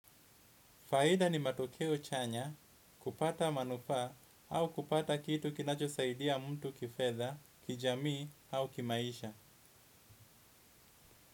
Faida ni matokeo chanya, kupata manufaa au kupata kitu kinacho saidia mtu kifedha, kijamii au kimaisha.